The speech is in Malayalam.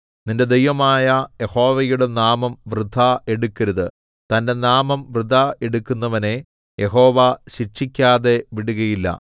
നിന്റെ ദൈവമായ യഹോവയുടെ നാമം വൃഥാ എടുക്കരുത് തന്റെ നാമം വൃഥാ എടുക്കുന്നവനെ യഹോവ ശിക്ഷിക്കാതെ വിടുകയില്ല